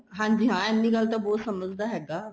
ਹਾਂਜੀ ਹਾਂ ਐਨੀ ਗੱਲ ਤਾਂ ਬਹੁਤ ਸਮਝਦਾ ਹੈਗਾ